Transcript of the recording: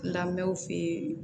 Lamɛnw fɛ